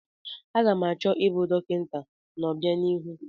Aga m achọ ịbụ dọkịta n'obianihu.